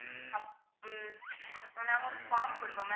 அப்~ உம் நாங்க form குடுப்போம் ma'am